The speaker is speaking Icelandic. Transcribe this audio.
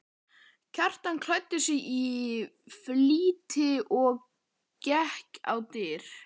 Kjartan klæddi sig í flýti og gekk á dyr.